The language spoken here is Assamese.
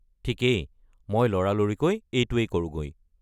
ঠিকেই, মই লৰালৰিকৈ এইটোৱেই কৰোঁগৈ।